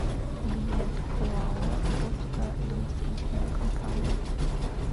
билет оао томская домостроительная компания